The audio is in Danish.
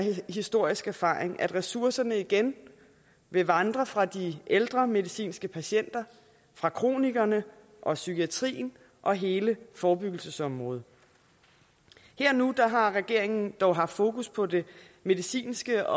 historisk erfaring at ressourcerne igen vil vandre fra de ældre medicinske patienter fra kronikerne og psykiatrien og hele forebyggelsesområdet her og nu har regeringen dog haft fokus på det medicinske